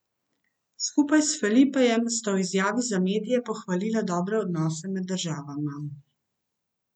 Skupaj s Felipejem sta v izjavi za medije pohvalila dobre odnose med državama.